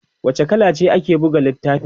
wace kala ce ake buga littafin?